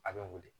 A bɛ wuli